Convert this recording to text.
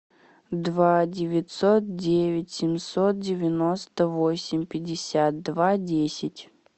два девятьсот девять семьсот девяносто восемь пятьдесят два десять